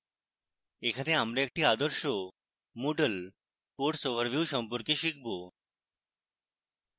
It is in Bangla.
এখানে আমরা একটি আদর্শ moodle course overview সম্পর্কে শিখব